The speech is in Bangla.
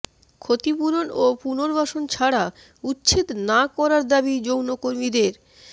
ক্ষতিপূরণ ও পুনর্বাসন ছাড়া উচ্ছেদ না করার দাবি যৌনকর্মীদের